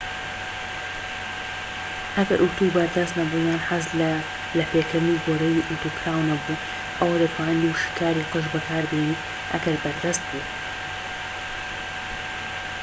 ئەگەر ئوتو بەردەست نەبوو یان حەزت لە لەپێکردنی گۆرەویی ئوتو کراو نەبوو ئەوا دەتوانیت وشککاری قژ بەکاربێنیت ئەگەر بەردەست بوو